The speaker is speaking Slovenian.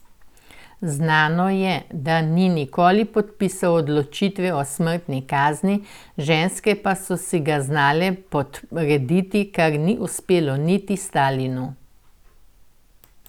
Znano je, da ni nikoli podpisal odločitve o smrtni kazni, ženske pa so si ga znale podrediti, kar ni uspelo niti Stalinu.